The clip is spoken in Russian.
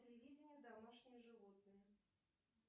телевидение домашние животные